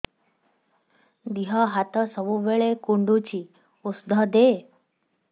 ଦିହ ହାତ ସବୁବେଳେ କୁଣ୍ଡୁଚି ଉଷ୍ଧ ଦେ